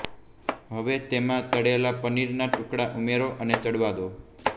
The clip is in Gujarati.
હવે તેમાં તળેલા પનીરના ટુકડાં ઉમેરો અને ચડવા દો